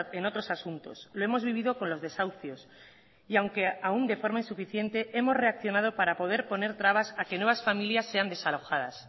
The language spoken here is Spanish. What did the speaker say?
en otros asuntos lo hemos vivido con los desahucios y aunque aún de forma insuficiente hemos reaccionado para poder poner trabas a que nuevas familias sean desalojadas